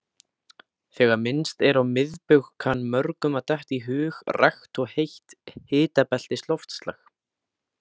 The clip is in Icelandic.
Þegar minnst er á miðbaug kann mörgum að detta í hug rakt og heitt hitabeltisloftslag.